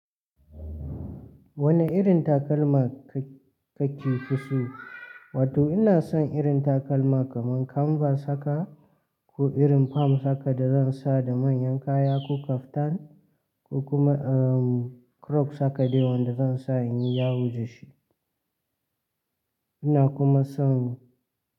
Wani irin takalma kake kuki fi so? Wato ina son irin takalma kaman kanvas haka ko irin fam haka da zan sa da manyan kaya, ko kaftan ko kuma crops haka dai wanda zan sa in yi yawo da shi. Ina kuma son.